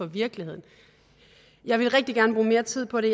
virkeligheden jeg ville rigtig gerne bruge mere tid på det